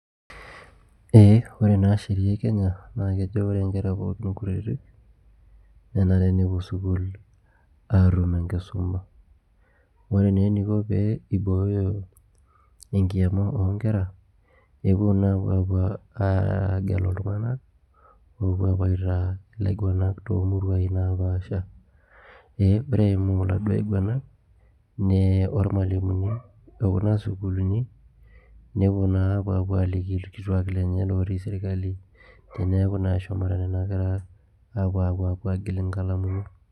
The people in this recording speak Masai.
Ore naa sheria e Kenya naa kejo ore naa nkera pooki kutitik nenare nepuo sukuuul aatum enkisuma ore naa eniko pee eibooyo enkiama oo nkera epuo naa apuo apuo aagelu iltung'anak enaa ilaiguanak too muruai naapasha ee ore eimu iladuo aiguanak naa olmalimuni lekuna sukuulini nepuo naa apuo aliki ilkituuak lenye ootii serikali teneeku naa eshomo nena kera apuo aagil inkalamuni